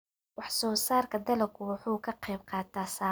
Wax-soo-saarka dalaggu wuxuu ka qayb qaataa samaha qoyska.